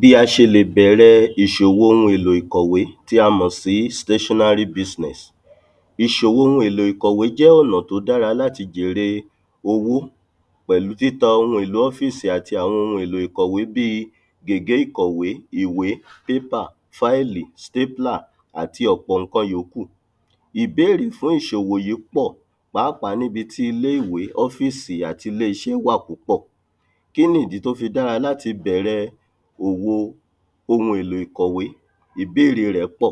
bí a ṣe lè bẹ̀rẹ ìṣòwò ohun èlò ìkọ̀wé tí a mọ̀ sí ìṣòwò ohun èlò ìkọ̀wé jẹ́ ọ̀nà tí ó dára láti jère owó pẹ̀lú títa ohun èlò ọ́físì àti àwọn ohun èlò ìkọ̀wé bíi gègé ìkọ̀wé, iwé, pépà, fáìlì, àti ọ̀pọ̀ ǹkan yókù. ìbérè fún ìṣòwò yí pọ̀ pàápàá níbi tí ilé-ìwé, ófísì àti ilé-iṣẹ́ wà púpọ̀ kíni ìdí tó fi dára láti bẹ̀rẹ òwo ohun èlò ìkọ̀wé? ìbére rẹ̀ pọ̀,